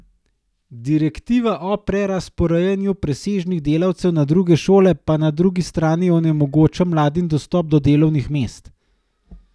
Direktiva o prerazporejanju presežnih delavcev na druge šole pa na drugi strani onemogoča mladim dostop do delovnih mest.